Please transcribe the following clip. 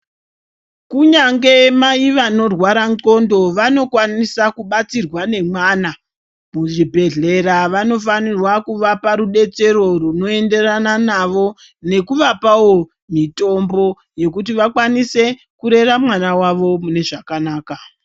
Kunyange mai vanorwara ndxondo vanokwanisa kubatsirwa nemwana. Muzvidhedhkera vanofanirwa kuvapa rubetsero runoenderana navo nekuvapavo mitombo yekuti vakwanise kurera mwana vavo mune zvakanaka.